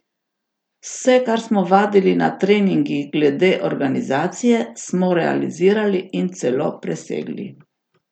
Vse, kar smo vadili na treningih glede organizacije, smo realizirali in celo presegli.